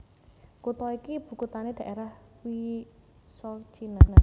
Kutha iki ibukuthané Dhaerah Vysocina